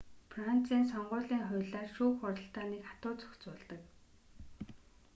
францын сонгуулийн хуулиар шүүх хуралдааныг хатуу зохицуулдаг